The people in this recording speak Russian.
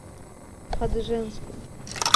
хадыженску